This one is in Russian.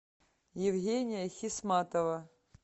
евгения хисматова